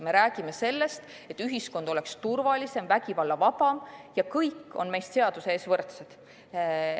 Me räägime sellest, et ühiskond oleks turvalisem ja vägivallavaba ning et kõik on seaduse ees võrdsed.